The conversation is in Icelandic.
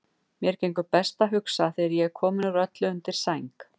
Mér gengur best að hugsa þegar ég er kominn úr öllu undir sæng.